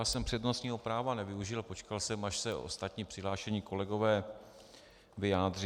Já jsem přednostního práva nevyužil, počkal jsem, až se ostatní přihlášení kolegové vyjádří.